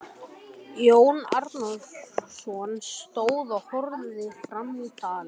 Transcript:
Jón Arason stóð og horfði fram dalinn.